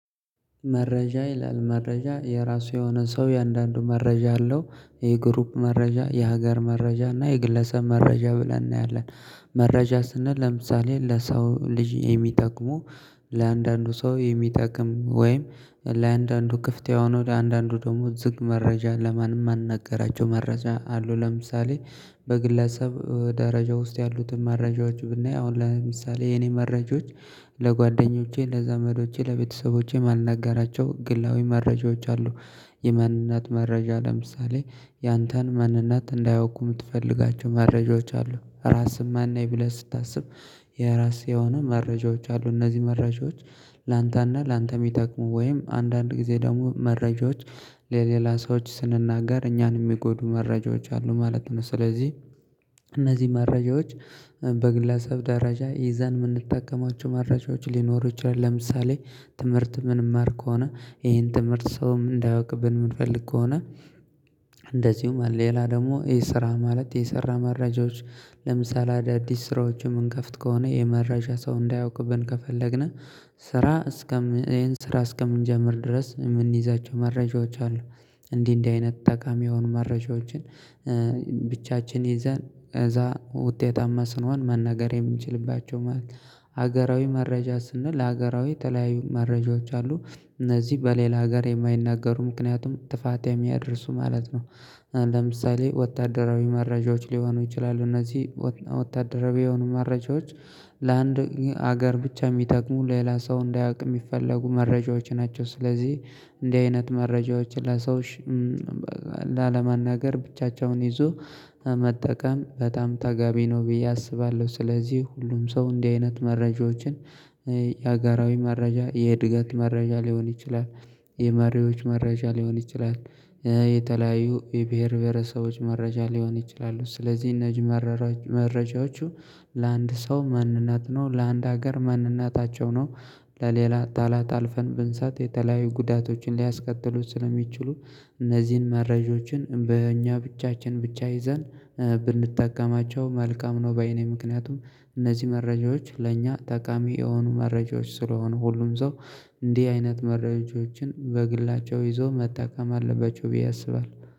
መረጃ ይላል መረጃ የራሱ የሆነ ሰው እያንዳንዱ መረጃ አለው የግሩፕ መረጃ የሀገር መረጃ እና የግለሰብ መረጃ ብለን እናያለን። መረጃ ስንል ለምሳሌ ለሰው ልጅ የሚጠቅሙ ለአንዳንዱ ሰው የሚጠቅም ወይም ለአንዳንዱ ክፍት የሆነ ወደ አንዳንዱ ደግሞ ዝግ መረጃ ለማን ማንናገራቸው መረጃ አሉ። ለምሳሌ በግለሰብ ደረጃ ውስጥ ያሉትን መረጃዎች ብናይ አሁን ለምሳሌ የኔ መረጃዎች ለጓደኞቼ ለዛመዶቼ ለቤተሰቦቼ ማልናጋራቸው ግላዊ መረጃዎች አሉ። የማንነት መረጃ ለምሳሌ ያንተን ማንነት እንዳያውቁ ምትፈልጋቸው መረጃዎች አሉ ራስን ማን ነኝ ብለህ ስታስብ የራስህ የሆኑ መረጃዎች አሉ። እነዚህ መረጃዎች ላንተና ላንተ የሚጠቅሙ ወይም አንዳንድ ጊዜ ደግሞ መረጃዎች ለሌላ ሰዎች ስንናገር እኛን ሚጎዱ መረጃዎች አሉ ማለት ነው። ስለዚህ እነዚህ መረጃዎች በግለሰብ ደረጃ ይዘን የምንጠቀማቸው መረጃዎች ሊኖሩ ይችላል። ለምሳሌ ትምህርት የምንማር ከሆነ ይሄን ትምህርት ሰውም እንዳያውቅብን ምንፈልግ ከሆነ። እንደዚሁም ሌላ ደግሞ ይህ ስራ ማለት የሰራ መረጃዎች ለምሳሌ አዳዲስ ስራዎችን ምንከፍት ከሆነ የመረጃ ሰው እንዳያውቅብን ከፈለግነ ስራ እስከምን ስራ እስከምንጀምር ድረስ የምንይዛቸው መረጃዎች አሉ። እንዲህ እንዲህ አይነት ጠቃሚ የሆኑ መረጃዎችን ብቻችን ይዘን እዛ ውጤታማ ስንሆን መናገር የምንችልባቸው ማለት ነው። ሀገራዊ መረጃ ስንል ሀገራዊ ተለያዩ መረጃዎች አሉ። እነዚህ በሌላ ሀገር የማይናገሩ ምክንያቱም ጥፋት የሚያደርሱ ማለት ነው። ለምሳሌ ወታደራዊ መረጃዎች ሊሆኑ ይችላሉ እነዚህ ወታደራዊ የሆኑ መረጃዎች ለአንድ ሀገር ብቻ የሚጠቅሙ ሌላ ሰው እንዳያውቅ የሚፈለጉ መረጃዎች ናቸው። ስለዚህ እንዲህ አይነት መረጃዎች ለሰው ላለማናገር ብቻቸውን ይዞ መጠቀም በጣም ተጋቢ ነው ብዬ አስባለሁ። ስለዚህ ሁሉም ሰው እንዲህ አይነት መረጃዎችን የአገራዊ መረጃ የእድገት መረጃ ሊሆን ይችላል። የመሪዎች መረጃ ሊሆን ይችላል። የተለያዩ የብሄር ብሄረሰቦች መረጃ ሊሆን ይችላሉ። ስለዚህ እነዚህ መረጃዎቹ ለአንድ ሰው ማንነት ነው ለአንድ ሀገር ማንነታቸው ነው። ለሌላ ጠላት አልፈን ብንሰጥ የተለያዩ ጉዳቶችን ሊያስከትሉት ስለሚችሉ እነዚህን መረጃዎችን በእኛ ብቻችን ብቻ ይዘን ላለማናገር ብቻቸውን ይዞ መጠቀም በጣም ተጋቢ ነው። ብዬ አስባለሁ ስለዚህ ሁሉም ሰው እንዲህ አይነት መረጃዎችን የአገራዊ መረጃ የእድገት መረጃ ሊሆን ይችላል። የመሪዎች መረጃ ሊሆን ይችላል የተለያዩ የብሄር ብሄረሰቦች መረጃ ሊሆን ይችላሉ ስለዚህ እነዚህ